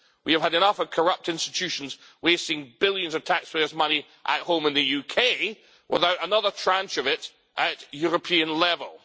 We have had enough of corrupt institutions wasting billions of taxpayers' money at home in the UK without another tranche of it at European level.